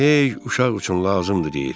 Elə hey uşaq üçün lazımdır, deyir.